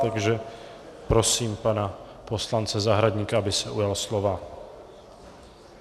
Takže prosím pana poslance Zahradníka, aby se ujal slova.